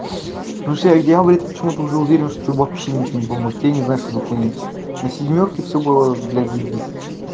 у всех дело болит почему-то уже уверен что вообще ничего не поможет я не знаю что за хуйня на семёрке всё было блядь заебись